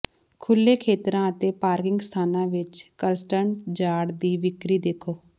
ਖੁੱਲੇ ਖੇਤਰਾਂ ਅਤੇ ਪਾਰਕਿੰਗ ਸਥਾਨਾਂ ਵਿੱਚ ਕਲੱਸਟਰਡ ਯਾਰਡ ਦੀ ਵਿਕਰੀ ਦੇਖੋ